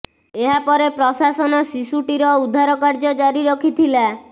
ଏହା ପରେ ପ୍ରଶାସନ ଶିଶୁଟିର ଉଦ୍ଧାର କାର୍ଯ୍ୟ ଜାରି ରଖିଥିଲା